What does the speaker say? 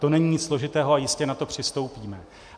To není nic složitého a jistě na to přistoupíme.